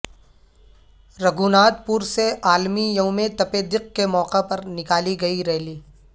رگھو ناتھ پور سے عالمی یوم تپ دق کے موقع پر نکالی گئی ریلی